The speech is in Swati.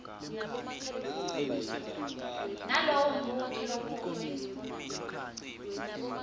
nalowo mbuto lobutwe